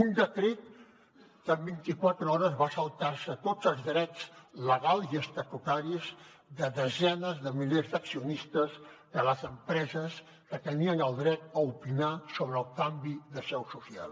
un decret que en vint i quatre hores va saltar se tots els drets legals i estatutaris de desenes de milers d’accionistes de les empreses que tenien el dret a opinar sobre el canvi de seu social